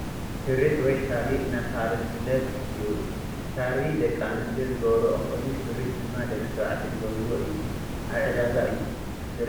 ሹርጥ ወይ ሻርፒ እናተባህለ ዝፍለጥ እዩ ሻርፒ ደቂ ኣንስትዮ ዝገብርኦ ኮይኑ ሽሩጥ ድማ ደቂ ተባዕትዮ ዝገብርዎ እዩ። ኣብ ዒዳጋ እዮ ዝርከብ።